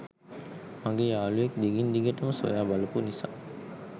මගේ යාළුවෙක් දිගින් දිගටම සොයා බලපු නිසා.